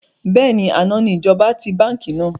Bẹ́ẹ̀ni, àná ni ìjọba ti báńkì náà.